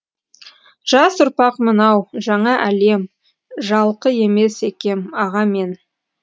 жас ұрпақ мынау жаңа әлем жалқы емес екем аға мен